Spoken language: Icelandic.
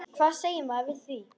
Hvað segir maður við því?